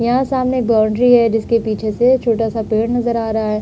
यहाँ सामने एक बाउंड्री है जिसके पीछे से छोटा सा पेड़ नजर आ रहा है।